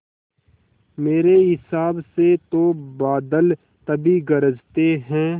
मेरे हिसाब से तो बादल तभी गरजते हैं